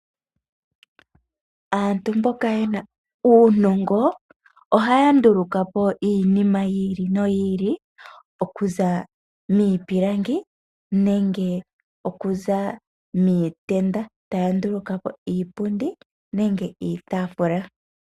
Aantu mboka ye na uunongo ohaya nduluka po iinima yi ili noyi ili, okuza miipilangi nenge okuza miitenda. Taya nduluka po iipundi nenge iitafula.